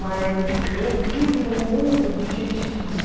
Mas eu vivo num mundo de gente de